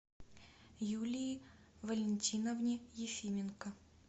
юлии валентиновне ефименко